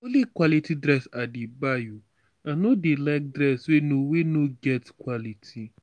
na only quality dress i dey buy o i no dey like dress wey no wey no get quality.